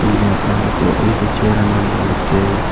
ಇಲ್ಲಿ ನಾಲಕ್ಕು ಐದು ಚೇರನ್ನು ನೋಡುತ್ತೇವೆ.